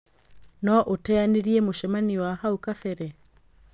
no ũteanĩria mũcemanio wa hau kabere.